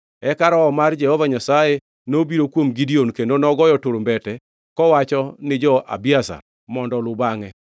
Eka Roho mar Jehova Nyasaye nobiro kuom Gideon, kendo nogoyo turumbete, kowachoni jo-Abiezer mondo oluw bangʼe.